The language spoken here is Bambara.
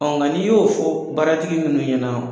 ŋa n'i y'o fɔ baaratigi munnu ɲɛna